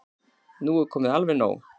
Nú er komið alveg nóg!